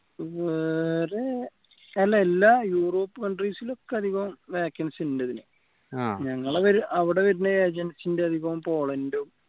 വേറെ എല്ലാ Europe countries ലും ഒക്കെ അധികം vacancy ഉണ്ട് ഇതിന് ഞങ്ങളെ അവിടെ വരുന്ന agency ന്റെ അധികവും പോളണ്ടും